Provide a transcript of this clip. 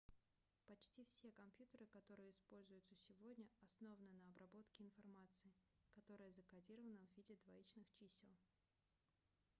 почти все компьютеры которые используются сегодня основаны на обработке информации которая закодирована в виде двоичных чисел